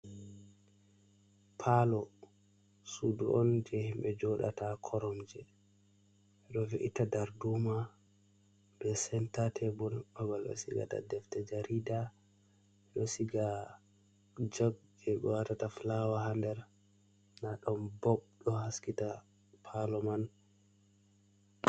palo. sudu on je himbe jodata ha korom je, be ve’ita dar duma be senta tebul, ha babal be sigata defte jarida.be sigata just, be wata ta flawa ha nder, nda ɗon bob do haskita palo man.